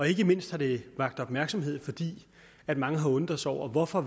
ikke mindst har det vakt opmærksomhed fordi mange har undret sig over hvorfor